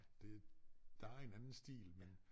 Det der en anden stil men